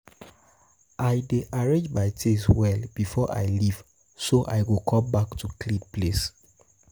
I dey arrange my things well before I leave, so I go come back to clean place. to clean place.